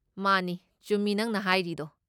Money, ꯆꯨꯝꯃꯤ ꯅꯪꯅ ꯍꯥꯏꯔꯤꯗꯣ꯫